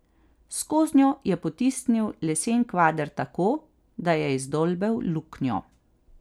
Skoznjo je potisnil lesen kvader tako, da je izdolbel luknjo.